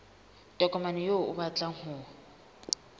tokomane eo o batlang ho